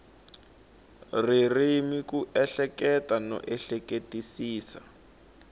ririmi ku ehleketa no ehleketisisa